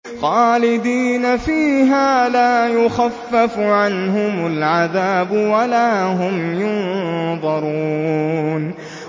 خَالِدِينَ فِيهَا ۖ لَا يُخَفَّفُ عَنْهُمُ الْعَذَابُ وَلَا هُمْ يُنظَرُونَ